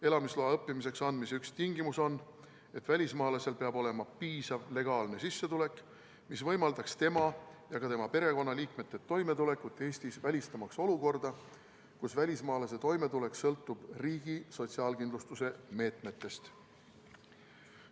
Õppimise jaoks elamisloa andmise üks tingimusi on, et välismaalasel peab olema piisav legaalne sissetulek, mis võimaldaks tema ja ka tema perekonnaliikmete toimetulekut Eestis, välistamaks olukorda, kus välismaalase toimetulek sõltub riigi sotsiaalkindlustusmeetmetest.